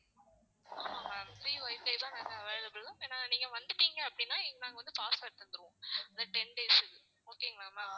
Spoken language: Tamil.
ஆஹ் free wifi லாம் இங்க available ஏன்னா நீங்க வந்துட்டீங்க அப்படின்னா நாங்க வந்து password தந்துருவோம் அந்த ten days க்கு okay ங்களா ma'am.